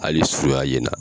Hali sua ye na!